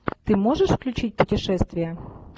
ты можешь включить путешествия